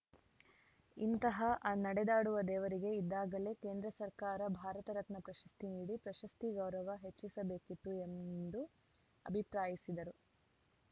ಇಂತಹ ನಡೆದಾಡುವ ದೇವರಿಗೆ ಇದ್ದಾಗಲೇ ಕೇಂದ್ರ ಸರ್ಕಾರ ಭಾರತ ರತ್ನ ಪ್ರಶಸ್ತಿ ನೀಡಿ ಪ್ರಶಸ್ತಿ ಗೌರವ ಹೆಚ್ಚಿಸಬೇಕಿತ್ತು ಎಂದು ಅಭಿಪ್ರಾಯಿಸಿದರು